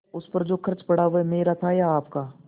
उस पर जो खर्च पड़ा वह मेरा था या आपका